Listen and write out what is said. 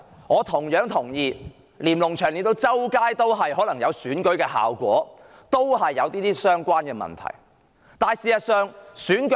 我同樣同意，隨處可見的連儂牆也有助選效果，而這亦與上述問題相關。